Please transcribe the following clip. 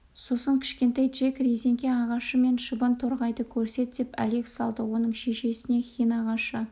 сосын кішкентай джек резеңке ағашы мен шыбын торғайды көрсет деп әлек салды оның шешесіне хин ағашы